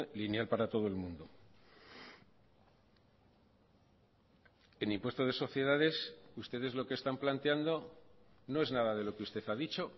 lineal para todo el mundo en impuesto de sociedades ustedes lo que están planteando no es nada de lo que usted ha dicho